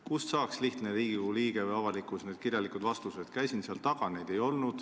Kust saaks lihtne Riigikogu liige või avalikkus nende kirjalike vastustega tutvuda?